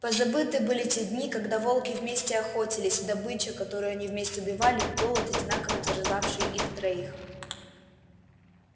позабыты были те дни когда волки вместе охотились добыча которую они вместе убивали голод одинаково терзав-ший их троих